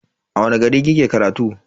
A wani gari kike karatu?